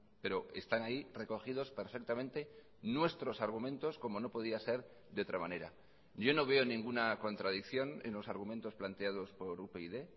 pero están ahí recogidos perfectamente nuestros argumentos como no podía ser de otra manera yo no veo ninguna contradicción en los argumentos planteados por upyd